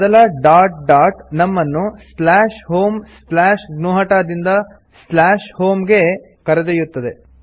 ಮೊದಲ dot dot ನಮ್ಮನ್ನು slash home slash ಜ್ಞುಹತ ದಿಂದ ಸ್ಲಾಶ್ ಹೋಮ್ ಗೆ ಕರೆದೊಯ್ಯುತ್ತದೆ